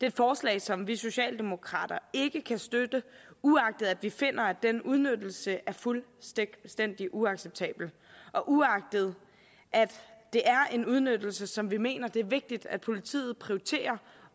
et forslag som vi socialdemokrater ikke kan støtte uagtet at vi finder at den udnyttelse er fuldstændig uacceptabel og uagtet at det er en udnyttelse som vi mener det er vigtigt at politiet prioriterer